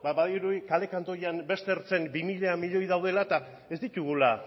ba badirudi kale kantoian beste ertzen bi mila milioi daudela eta ez ditugula